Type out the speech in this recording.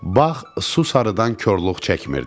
Bağ su sarıdan korluq çəkmirdi.